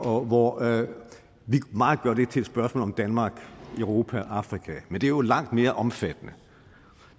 og hvor vi meget gør det til et spørgsmål om danmark europa afrika men det er jo langt mere omfattende